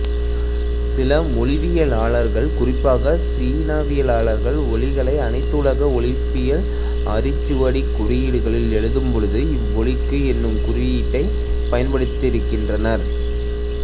சில மொழியியலாளர்கள் குறிப்பாக சீனவியலாளர் ஒலிகளை அனைத்துலக ஒலிப்பியல் அரிச்சுவடிக் குறியீடுகளில் எழுதும்போது இவ்வொலிக்கு என்னும் குறியீட்டைப் பயன்படுத்துகின்றனர்